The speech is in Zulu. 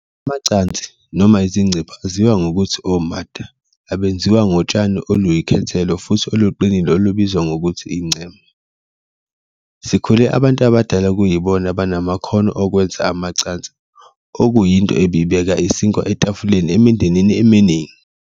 Amacansi noma izicephu aziwa ngokuthi omata abenziwa ngotshani oluyikhethelo futhi oluqinile olubizwa ngokuthi, incema. Sikhule abantu abadala kuyibona abanamakhono okwenza amacansi okuyinto ebebibeka isinkwa etafuleni emindenini eminingi.